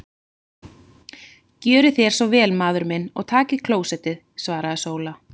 Gjörið þér svo vel maður minn og takið klósettið, svaraði Sóla.